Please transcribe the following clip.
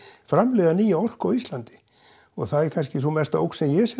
framleiða nýja orku á Íslandi og það er kannski sú mesta ógn sem ég sé